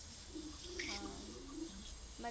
ಹಾ ಮತ್ತೆ.